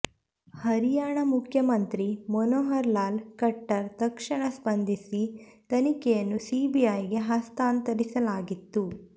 ಹರಿಯಾಣ ಮುಖ್ಯಮಂತ್ರಿ ಮನೋಹರ್ ಲಾಲ್ ಖಟ್ಟರ್ ತಕ್ಷಣ ಸ್ಪಂದಿಸಿ ತನಿಖೆಯನ್ನು ಸಿಬಿಐಗೆ ಹಸ್ತಾಂತರಿಸಲಾಗಿತ್ತು